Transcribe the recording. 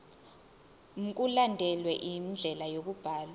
mkulandelwe indlela yokubhalwa